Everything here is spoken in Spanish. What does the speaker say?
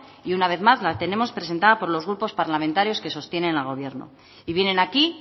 y una vez más la tenemos presentado por los grupos parlamentarios que sostienen al gobierno y vienen aquí